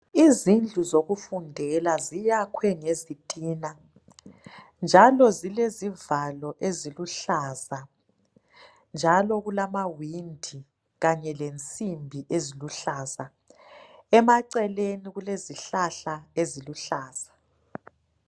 Izindlu zokufundela ziyakhwe ngezitina njalo zilezievalo eziluhlaza njalo kulama windi Kanye lensimbi eziluhlaza emaceleni kulezihlahla eziluhlaza.